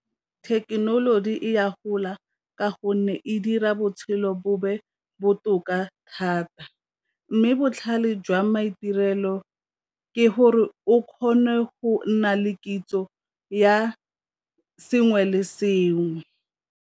Thekenoloji e ya gola ka gonne e dira botshelo bo botoka thata, mme botlhale jwa maitirelo ke gore o kgone go nna le kitso ya sengwe le sengwe.